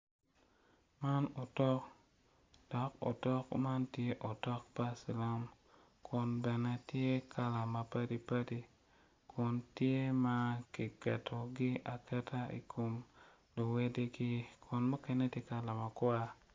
Man otok dok otok man tye otok cilam kun bene tye kala mapadipadi kun tye ma kiketogi aketa i kin luwedigi kun mukene tye kala makwar.